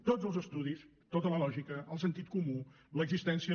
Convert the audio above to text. tots els estudis tota la lògica el sentit comú l’existència